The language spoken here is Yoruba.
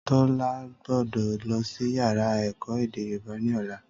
Tólá gbódò lọsí yàrá èkó èdè yorùbá ní ọ̀la